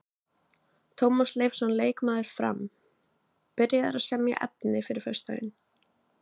Tómas Leifsson leikmaður Fram: Byrjaður að semja efni fyrir föstudaginn.